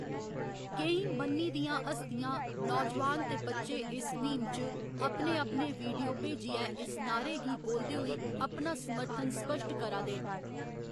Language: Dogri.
केईं मन्नी दियां हस्तियां, नौजोआन ते बच्चे इस म्हीम च अपने अपने वीडियो भेजियै इस नारे गी बोलदे होई अपना समर्थन स्पश्ट करा दे न।